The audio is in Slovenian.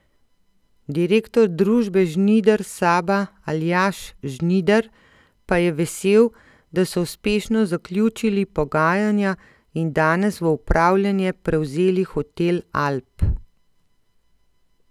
Direktor družbe Žnider Saba Aljaž Žnider pa je vesel, da so uspešno zaključili pogajanja in danes v upravljanje prevzeli hotel Alp.